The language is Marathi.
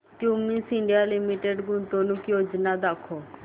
क्युमिंस इंडिया लिमिटेड गुंतवणूक योजना दाखव